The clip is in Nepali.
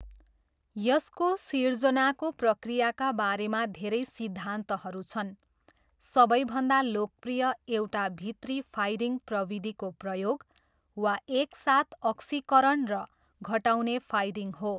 यसको सिर्जनाको प्रक्रियाका बारेमा धेरै सिद्धान्तहरू छन्, सबैभन्दा लोकप्रिय एउटा भित्री फायरिङ प्रविधिको प्रयोग, वा एक साथ अक्सिकरण र घटाउने फायरिङ हो।